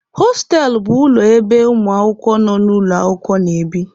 Hostelụ bụ ụlọ ebe ụmụ akwụkwọ nọ n'ụlọ akwụkwọ na-ebi.